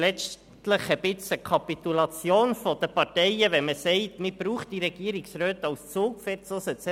Letztlich ist es fast eine Kapitulation der Parteien, wenn man sagt, man brauche die Regierungsräte als Zugpferde.